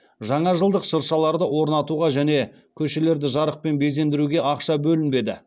жаңажылдық шыршаларды орнатуға және көшелерді жарықпен безендіруге ақша бөлінбеді